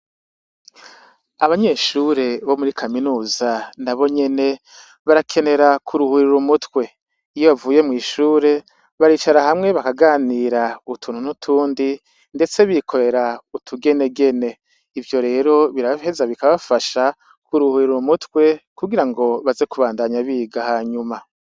Abanyeshure bo muri kaminuza nabonyene barakenera kuruhurira umutwe, iyo bavuye mw'ishure baricara hamwe bakaganira utuntu n'utundi ndetse bikorera utugenegene, ivyo rero biraheza bikabafasha kuruhurira umutwe kugirango baze kubandanya biga hanyuma.